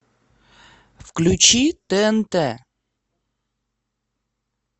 включи тнт